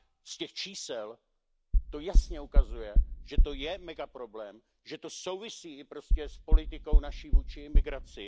Z těch čísel to jasně vyplývá, že to je mega problém, že to souvisí prostě s naší politikou vůči migraci.